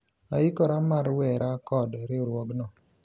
aikora mar wera kod riwruogno